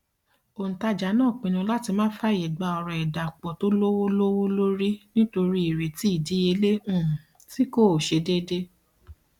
òǹtajà náà pinu láti má fàyè gba ọrọ ìdàpọ tó lówó lówó lórí nítorí ìrètí ìdíyelé um tí kò ṣe dédé